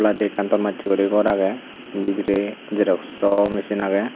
ekkan ton maccheguri gor agey bidire xeroxo mesin agey.